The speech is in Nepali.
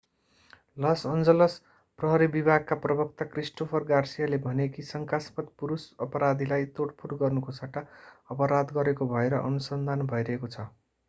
लस एन्जलस प्रहरी विभागका प्रवक्ता क्रिस्टोफर गार्सियाले भने कि शंकास्पद पुरूष अपराधीलाई तोडफोड गर्नुको सट्टा अपराध गरेको भएर अनुसन्धान भइरहेको छ